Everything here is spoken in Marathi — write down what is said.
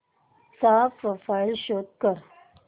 चा प्रोफाईल शो कर